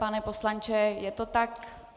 Pane poslanče, je to tak?